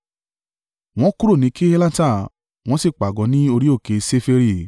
Wọ́n kúrò ní Kehelata wọ́n sì pàgọ́ ní orí òkè Ṣeferi.